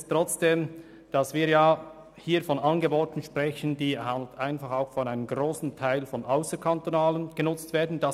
Diese Angebote werden zu einem grossen Teil von ausserkantonalen Studierenden genutzt.